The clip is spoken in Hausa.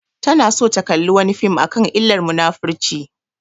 Tana so ta kalla wani fim akan illar munafurci